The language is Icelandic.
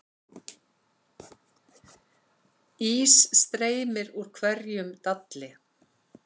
Ís streymir úr hverjum dalli